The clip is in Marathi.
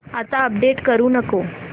आता अपडेट करू नको